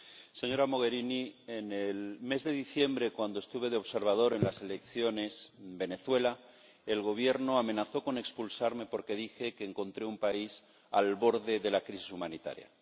Señor Presidente, señora Mogherini, en el mes de diciembre, cuando estuve de observador en las elecciones en Venezuela, el Gobierno amenazó con expulsarme porque dije que encontré un país al borde de la crisis humanitaria.